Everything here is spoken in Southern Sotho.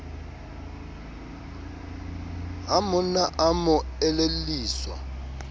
ha monna a mo elelliswa